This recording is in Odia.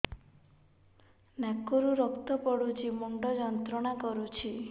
ନାକ ରୁ ରକ୍ତ ପଡ଼ୁଛି ମୁଣ୍ଡ ଯନ୍ତ୍ରଣା କରୁଛି